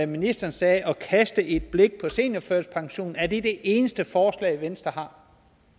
ministeren sagde at kaste et blik på seniorførtidspensionen er det det eneste forslag venstre